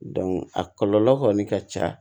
a kɔlɔlɔ kɔni ka ca